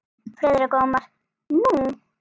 Friðrik Ómar: Nú?